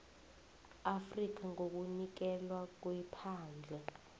afrika ngokunikelwa kwephandle